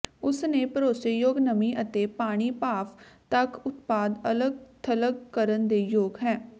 ਉਸ ਨੇ ਭਰੋਸੇਯੋਗ ਨਮੀ ਅਤੇ ਪਾਣੀ ਭਾਫ਼ ਤੱਕ ਉਤਪਾਦ ਅਲੱਗ ਥਲੱਗ ਕਰਨ ਦੇ ਯੋਗ ਹੈ